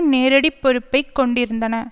நேரடி பொறுப்பை கொண்டிருந்தன